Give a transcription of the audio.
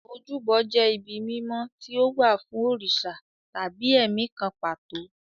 Ojúbọ jẹ́ ibi mímọ́ tí ó wà fún òrìṣà tàbí ẹ̀mí kan pàtó.